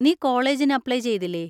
നീ കോളേജിന് അപ്ലൈ ചെയ്തില്ലേ?